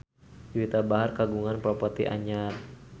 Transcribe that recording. Juwita Bahar kagungan properti anyar